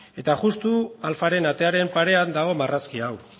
eta justu alfaren atearen parean dago marrazki hau